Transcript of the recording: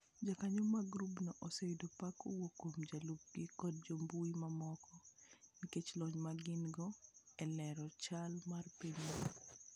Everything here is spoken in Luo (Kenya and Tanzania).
Jokanyo mag grubno oseyudo pak kowuok kuom jolupgi koda jo mbui mamoko, nikech lony ma gin - go e lero chal mar pinyno.